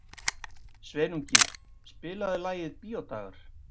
Sveinungi, spilaðu lagið „Bíódagar“.